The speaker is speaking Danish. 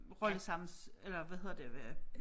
Rolle sammen eller hvad hedder det øh